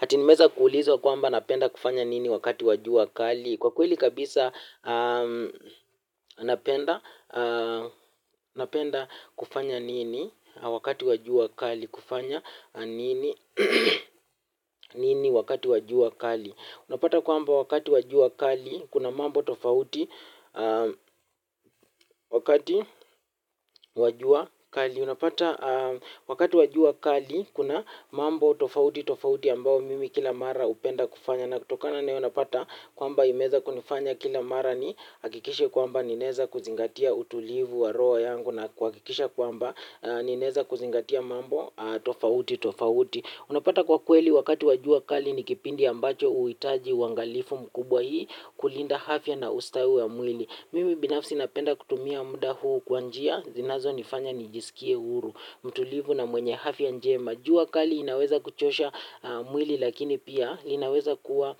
Ati nimeeza kuulizwa kwamba napenda kufanya nini wakati wa jua kali. Kwa kweli kabisa napenda kufanya nini wakati wa jua kali. Kufanya nini wakati wa jua kali. Unapata kwamba wakati wa jua kali kuna mambo tofauti, wakati wa jua kali unapata wakati wa jua kali kuna mambo tofauti tofauti ambayo mimi kila mara hupenda kufanya. Na kutokana na hio napata kwamba imeeza kunifanya kila mara ni hakikishe kwamba ninaeza kuzingatia utulivu wa roho yangu na kuhakikisha kwamba ninaeza kuzingatia mambo tofauti tofauti, unapata kwa kweli wakati wa jua kali ni kipindi ambacho huhitaji uangalifu mkubwa ili kulinda afya na ustawi wa mwili mimi binafsi napenda kutumia muda huu kwa njia zinazo nifanya nijisikie uhuru, mtulivu na mwenye afya njema. Jua kali inaweza kuchosha mwili lakini pia inaweza kuwa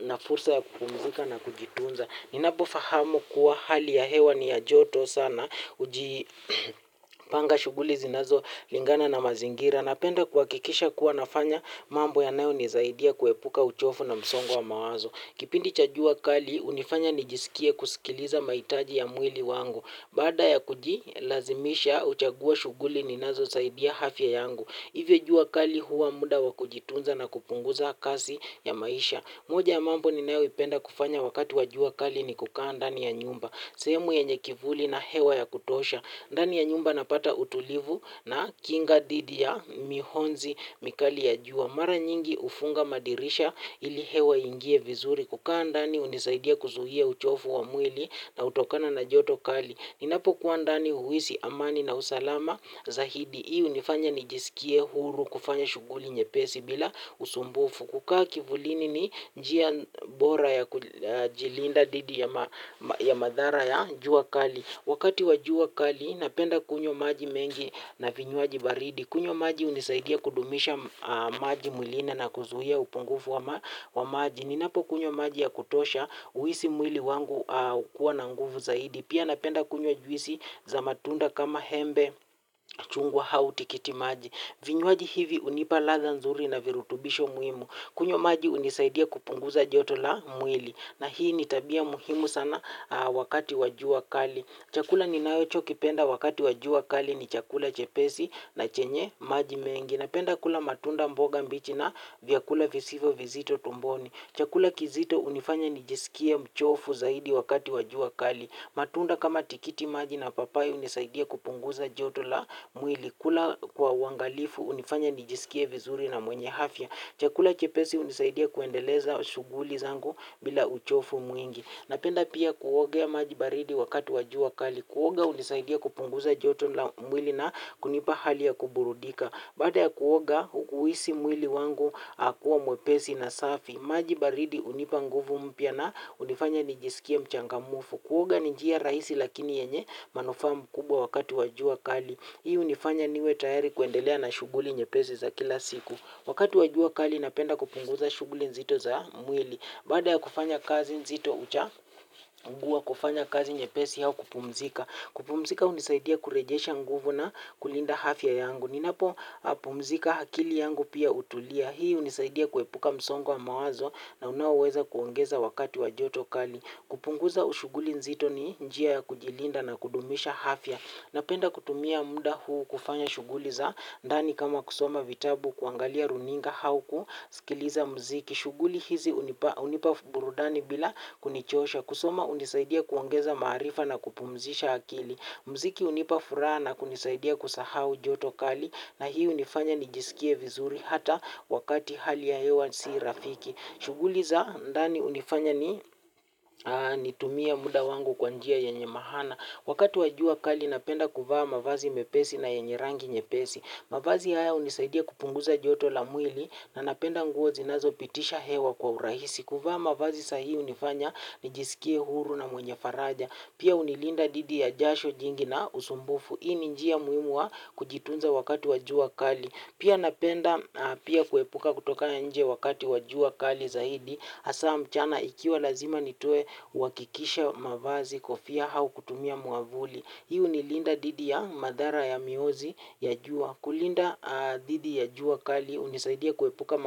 na fursa ya kupumzika na kujitunza. Ninapo fahamu kuwa hali ya hewa ni ya joto sana hujipanga shughuli zinazo lingana na mazingira. Napenda kuhakikisha kuwa nafanya mambo yanayo nisaidia kuepuka uchovu na msongo wa mawazo. Kipindi cha jua kali hunifanya nijisikie kusikiliza mahitaji ya mwili wangu. Baada ya kujilazimisha huchagua shughuli ninazo saidia afya yangu. Ivyo jua kali huwa muda wa kujitunza na kupunguza kasi ya maisha moja ya mambo ninayo ipenda kufanya wakati wa jua kali ni kukaa ndani ya nyumba. Sehemu yenye kivuli na hewa ya kutosha. Ndani ya nyumba napata utulivu na kinga dhidi ya mionzi mikali ya jua. Mara nyingi ufunga madirisha ili hewa ingie vizuri. Kukaa ndani hunisaidia kuzuia uchovu wa mwili unaotokana na joto kali ninapo kuwa ndani huhisi amani na usalama zaidi. Hii hunifanya nijisikie huru kufanya shughuli nyepesi bila usumbufu, kukaa kivulini ni njia bora ya kujilinda dhidi ya madhara ya jua kali. Wakati wa jua kali napenda kunywa maji mengi na vinywaji baridi, kunywa maji hunisaidia kudumisha maji mwili na na kuzuia upungufu wa maji, ninapo kunywa maji ya kutosha huhisi mwili wangu kuwa na nguvu zaidi, pia napenda kunywa juisi za matunda kama hembe, chungwa au tikiti maji. Vinywaji hivi hunipa ladha nzuri na virutumbisho muhimu, kunywa maji hunisaidia kupunguza joto la mwili na hii ni tabia muhimu sana wakati wa jua kali. Chakula ninacho kipenda wakati wa jua kali ni chakula chepesi na chenye maji mengi. Napenda kula matunda, mboga mbichi na vyakula visivo vizito tumboni. Chakula kizito hunifanya nijisikie mchovu zaidi wakati wa jua kali. Matunda kama tikiti maji na papai hunisaidia kupunguza joto la mwili. Kula kwa uangalifu hunifanya nijisikie vizuri na mwenye afya. Chakula chepesi hunisaidia kuendeleza shughuli zangu bila uchovu mwingi. Napenda pia kuogea maji baridi wakati wa jua kali. Kuoga hunisaidia kupunguza joto la mwili na kunipa hali ya kuburudika. Baada ya kuoga huhisi mwili wangu kuwa mwepesi na safi maji baridi hunipa nguvu mpya na hunifanya nijisikie mchangamfu. Kuoga ni njia rahisi lakini yenye manufaa makubwa wakati wa jua kali. Hii hunifanya niwe tayari kuendelea na shughuli nyepesi za kila siku. Wakati wa jua kali napenda kupunguza shughuli nzito za mwili. Baada ya kufanya kazi nzito huchagua kufanya kazi nyepesi au kupumzika. Kupumzika hunisaidia kurejesha nguvu na kulinda hafya yangu. Ninapo pumzika akili yangu pia hutulia. Hii hunisaidia kuepuka msongo wa mawazo na unaoweza kuongeza wakati wa joto kali. Kupunguza ushughuli nzito ni njia ya kujilinda na kudumisha afya. Napenda kutumia muda huu kufanya shughuli za ndani kama kusoma vitabu kuangalia runinga au kusikiliza mziki. Shughuli hizi hunipa burudani bila kunichosha. Kusoma hunisaidia kuongeza maarifa na kupumzisha akili. Mziki hunipa furaha na kunisaidia kusahu joto kali na hii hunifanya nijisikie vizuri hata wakati hali ya hewa si rafiki shughuli za ndani hunifanya nitumie muda wangu kwa njia yenye maana wakati wa jua kali napenda kuvaa mavazi mepesi na yenye rangi nyepesi. Mavazi haya hunisaidia kupunguza joto la mwili na napenda nguo zinazo pitisha hewa kwa urahisi. Kuvaa mavazi sahihi hunifanya nijisikie huru na mwenye faraja. Pia hunilinda dhidi ya jasho jingi na usumbufu. Hii ni njia muhimu wa kujitunza wakati wa jua kali. Pia napenda pia kuepuka kutoka nje wakati wa jua kali zaidi. Hasa mchana ikiwa lazima nitoe huhakikisha mavazi, kofia au kutumia mwavuli. Hii hunilinda dhidi ya madhara ya miozi ya jua. Kulinda dhidi ya jua kali hunisaidia kuepuka.